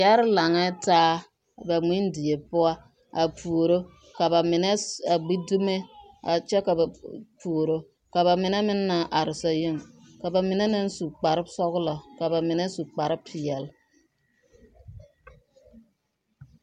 Yɛre laŋɛɛ taa ba ŋmendie poɔ a puoro ka bamine a gbi dume a kyɛ puoro ka bamine meŋ naŋ are sazuŋ ka bamine meŋ su kpare sɔgelɔ ka bamine su kpare peɛle.